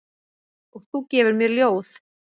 Og þú gefur mér ljóð.